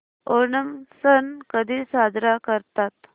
ओणम सण कधी साजरा करतात